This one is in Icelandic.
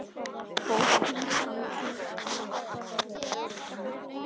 Bókin Andlit er ætluð öllum.